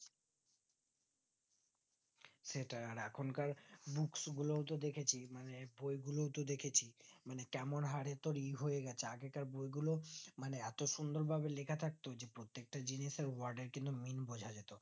সেটাই আর এখন কার books গুলো তো দেখছি মানে বই গুলোও তো দেখেছি মানে কেমন হরে তোর ই হয়ে গেছে, আগেকার বই গুলো মানে এতো সুন্দর ভাবে লেখা থাকতো যে প্রত্যেকটা জিনিসের word এর কিন্তু meaning বোঝা যেত